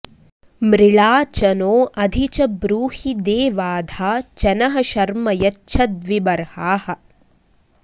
मृ॒ळा च॑ नो॒ अधि॑ च ब्रूहि दे॒वाधा॑ च नः॒ शर्म॑ यच्छ द्वि॒बर्हाः॑